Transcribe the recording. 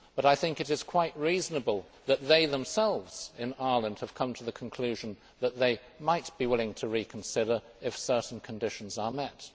But I think it is quite reasonable that they themselves in Ireland have come to the conclusion that they might be willing to reconsider if certain conditions are met.